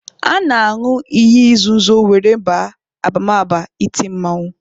A na-añụ iyi nzuzo were baa abamaba iti mmanwụ.